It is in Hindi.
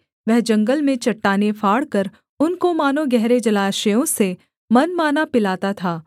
वह जंगल में चट्टानें फाड़कर उनको मानो गहरे जलाशयों से मनमाना पिलाता था